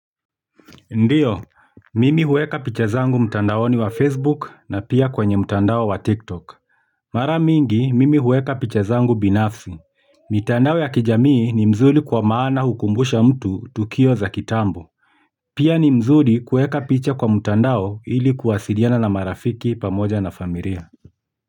Ndiyo, mimi hueka picha zangu mtandaoni wa Facebook na pia kwenye mtandao wa TikTok. Mara miingi, mimi hueka picha zangu binafsi. Mitandao ya kijamii ni mzuri kwa maana hukumbusha mtu tukio za kitambo. Pia ni mzuri kueka picha kwa mtandao ili kuwasiliana na marafiki pamoja na familia.